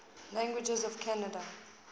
languages of canada